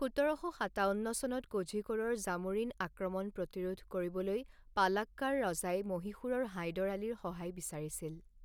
সোতৰ শ সাতাৱন্ন চনত কোঝিকোড়ৰ জামোৰিন আক্ৰমণ প্ৰতিৰোধ কৰিবলৈ পালাক্কাড় ৰাজাই মহীশূৰৰ হাইদৰ আলীৰ সহায় বিচাৰিছিল।